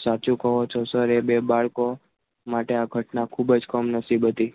સાચો સાચું કહો છો સર એ બે બાળકો માટે આ ઘટના ખૂબ જ કમ નસીબ હતી